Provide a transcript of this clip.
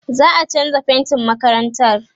za'a chanza faintin makarantar